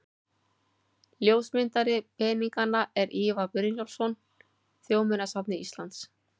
Ljósmyndari peninganna er Ívar Brynjólfsson, Þjóðminjasafni Íslands.